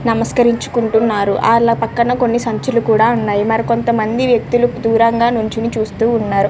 నమసకరం పేటి ఉన్నారు వారి పక్కన సంచులు కూడా ఉన్నాయ్ మరి కొంత మంది వెక్తులు దూరంగా నిల్చొని చూస్తూ ఉన్నారు.